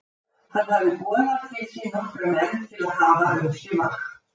Hann hafði boðað til sín nokkra menn til að hafa um sig vakt.